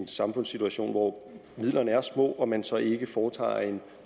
samfundssituation hvor midlerne er små og man så ikke foretager en